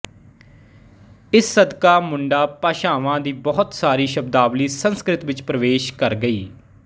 ਇਸ ਸਦਕਾ ਮੁੰਡਾ ਭਾਸ਼ਾਵਾ ਦੀ ਬਹੁਤ ਸਾਰੀ ਸ਼ਬਦਾਵਲੀ ਸੰਸਕ੍ਰਿਤ ਵਿੱਚ ਪ੍ਰਵੇਸ਼ ਕਰ ਗਈ